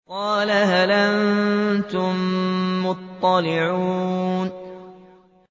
قَالَ هَلْ أَنتُم مُّطَّلِعُونَ